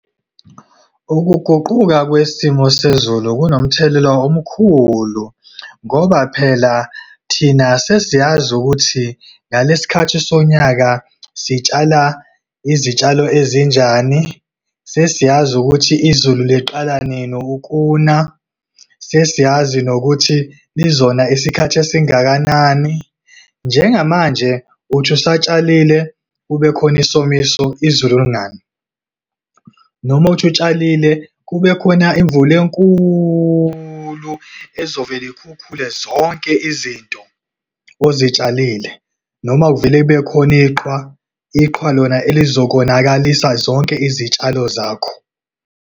Ukuguquka kwisimo sezulu kunomthelela omkhulu, ngoba phela thina sesiyazi ukuthi ngalesikhathi sonyaka sitshala izitshalo ezinjani. Sesiyazi ukuthi izulu liqala nini ukuna, sesiyazi nokuthi lizona isikhathi esingakanani. Njengamanje, uthi usatshalile kubekhona isomiso izulu lingani, noma uthi utshalile, kube khona imvula enkulu ezovele ikhukhule zonke izinto ozitshalile. Noma, kuvele kube khona iqhwa, iqhwa lona elizokonakalisa zonke izitshalo zakho.